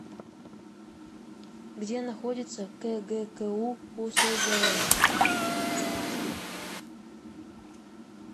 где находится кгку усзн